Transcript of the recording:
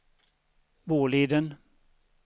Boliden